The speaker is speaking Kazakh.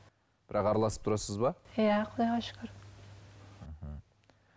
бірақ араласып тұрасыз ба иә құдайға шүкір